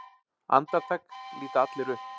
Andartak líta allir upp.